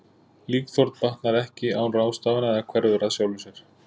Líkþorn batnar ekki án ráðstafana eða hverfur að sjálfu sér.